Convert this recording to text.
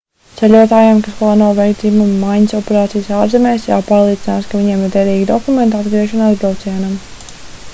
ceļotājiem kas plāno veikt dzimuma maiņas operācijas ārzemēs jāpārliecinās ka viņiem ir derīgi dokumenti atgriešanās braucienam